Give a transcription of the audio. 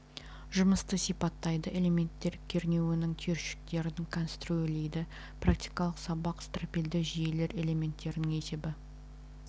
жұмысты сипаттайды элементтер кернеуінің түйіршіктерін конструирлейді практикалық сабақ стропильді жүйелер элементтерінің есебі